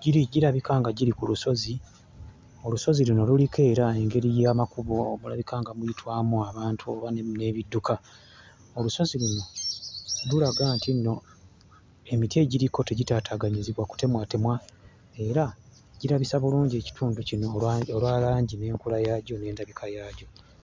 Giri girabika nga giri ku lusozi, olusozi luno luliko era engeri y'amakubo omulabika nga muyitwamu abantu oba ne n'ebidduka. Olusozi luno lulaga nti nno emiti egiriko tegitaataaganyizibwa kutemwatemwa era girabisa bulungi ekitundu kino olwa olwa langi n'enkula yaagyo n'endabika yaagyo.